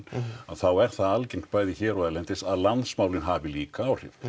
að þá er það algengt bæði hér og erlendis að landsmálin hafi líka áhrif